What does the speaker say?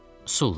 Sulla.